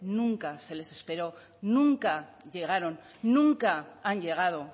nunca se les esperó nunca llegaron nunca han llegado